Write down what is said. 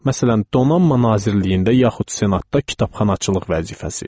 Məsələn, Donanma Nazirliyində, yaxud Senatda kitabxanaçılıq vəzifəsi.